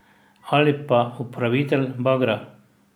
Ali pa upravitelj bagra.